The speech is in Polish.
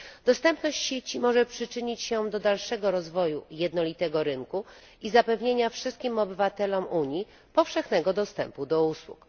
Dostępność sieci może przyczynić się do dalszego rozwoju jednolitego rynku i zapewnienia wszystkim obywatelom Unii powszechnego dostępu do usług.